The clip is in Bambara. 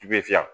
I bɛ fiɲɛ